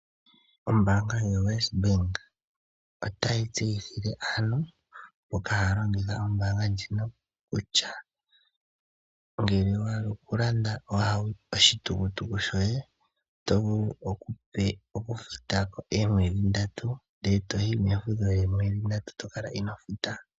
Ombaanga yoWesBank, otayi tseyithile aantu mboka haya longitha ombaanga ndjino kutya ngele owa hala oku landa oshitukutuku shoye, oto vulu okufuta ko oomwedhi ndatu, ndele toyi mefudho lyoomwedhi ndatu tokala inoo futa.